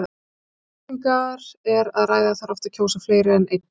Þegar um kosningar er að ræða þarf oft að kjósa fleiri en einn.